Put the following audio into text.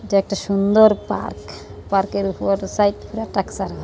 এটা একটা সুন্দর পার্ক পার্কে র উপরে একটা সাইড করে ট্রকচার হ --